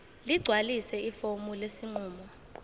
ligcwalise ifomu lesinqumo